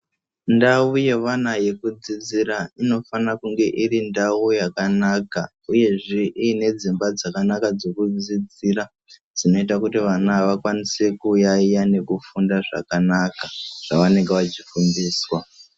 Ndau yevana yekudzidzira inofana kunge iri ndau yakanaka uyezve iine dzimba dzakanaka dzekudzidzira dzinoita kuti vana vakwanise kuyaiya nekufunda zvakanaka zvavanenge vachifundiswa.